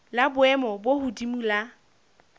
la boemo bo hodimo la